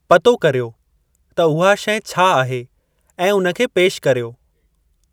पतो करियो त उहा शइ छा आहे ऐं उन खे पेशि करियो।